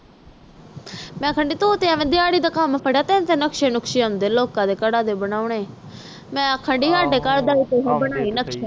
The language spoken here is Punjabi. ਮੈਂ ਤਾ ਆਖਣ ਦੇ ਆ ਤੂੰ ਤੇ ਐਵੇ ਦਿਹਾੜੀ ਦਾ ਕਾਮ ਫੜਦਿਆਂ ਤੈਨੂੰ ਤਾ ਨਕਸ਼ੇ ਨੁਕਸ਼ੇ ਆਉਂਦੇ ਆ ਬੰਨੇ ਮੈਂ ਆਖਣ ਦੇ ਆ ਤੂੰ ਸਾਡੇ ਘਰ ਦਾ ਵੀ ਬਣਾਈ ਨਕਸ਼ਾ